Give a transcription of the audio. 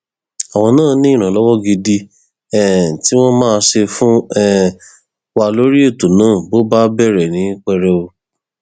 àwọn náà ní ìrànlọwọ gidi um tí wọn máa ṣe fún um wa lórí ètò náà bó bá bẹrẹ ní pẹrẹwu